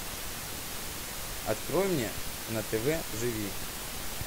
открой мне на тв живи